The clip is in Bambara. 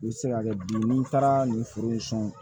I bɛ se ka kɛ bi n'i taara nin foro in kɔnɔ